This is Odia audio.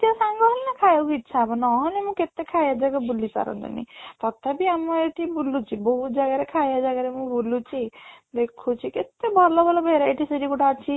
ସାଙ୍ଗ ହେଲେ ଖାଇବାକୁ ଇଚ୍ଛା ହବ ନୋହେଲେ ମୁଁ କେତେ ଖାଏ ଏବେ ଏବେ ବୁଲି ସାରନ୍ତିଣି ତଥାପି ଆମ ଏଠି ବୁଲୁଛି ବହୁତ ଜାଗାରେ ଖାଇବା ଜାଗାରେ ମୁଁ ବୁଲୁଛି ଦେଖୁଛି କେତେ ଭଲ ଭଲ verity ସେଇ ଗୋଟେ ଅଛି